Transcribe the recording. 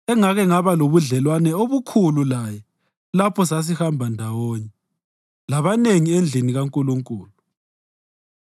engake ngaba lobudlelwano obukhulu laye lapho sasihamba ndawonye labanengi endlini kaNkulunkulu.